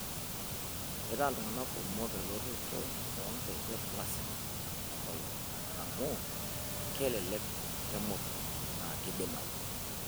Keitaa iltung'ana kumok elototo oonkejek lasima tenkolong' amu kelelek, kemurru na keidimayu.